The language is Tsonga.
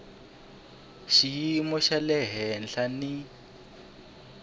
xiyimo xa le henhla ni